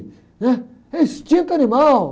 né? É instinto animal.